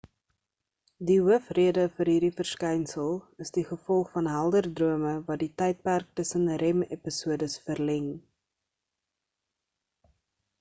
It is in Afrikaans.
die hoof rede vir hierdie verskynsel is die gevolg van helder drome wat die tydperk tussen rem episodes verleng